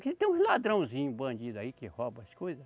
Aqui tem uns ladrãozinho, bandido aí que rouba as coisa.